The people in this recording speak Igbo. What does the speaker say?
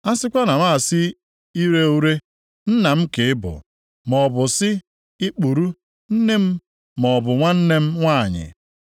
a sikwa na m asị ire ure, ‘Nna m ka ị bụ,’ maọbụ sị ikpuru ‘Nne m’ maọbụ ‘Nwanne m nwanyị,’